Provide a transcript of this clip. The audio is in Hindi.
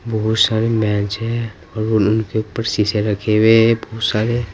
बहुत सारी बेंच है और उनके ऊपर शीशे रखे हुए हैं बहुत सारे।